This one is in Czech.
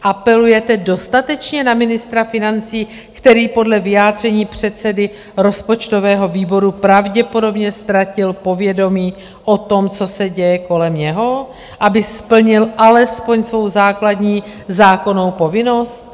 Apelujete dostatečně na ministra financí, který podle vyjádření předsedy rozpočtového výboru pravděpodobně ztratil povědomí o tom, co se děje kolem něho, aby splnil alespoň svou základní zákonnou povinnost?